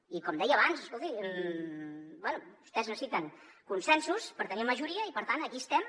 i com deia abans escolti bé vostès necessiten consensos per tenir majoria i per tant aquí estem